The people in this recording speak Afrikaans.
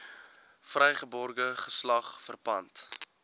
vrygebore geslag verpand